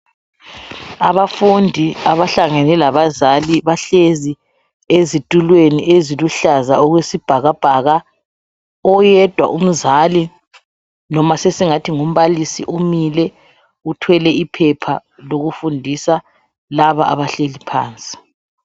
Abafundi abahlangene labazali, bahlezi ezitulweni eziluhlaza okwesibhakabhaka. Oyedwa umzali noma sesingathi ngumbalisi umile uthwele iphepha lokufundisa laba abahleli phansi.